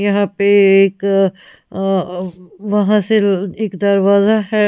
यहां पे एक और अ व वहां से एक दरवाजा है।